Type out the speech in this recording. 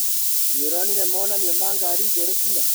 Nĩũronire monanio ma ngari njerũ ira?